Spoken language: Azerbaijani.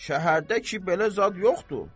Şəhərdə ki belə zad yoxdur.